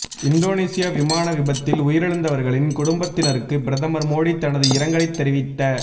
Indonesia விமான விபத்தில் உயிரிழந்தவர்களின் குடும்பத்தினருக்கு பிரதமர் மோடி தனது இரங்கலைத் தெரிவித